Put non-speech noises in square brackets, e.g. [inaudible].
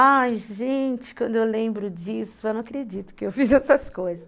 Ai, gente, quando eu lembro disso, eu não acredito [laughs] que eu fiz essas coisas.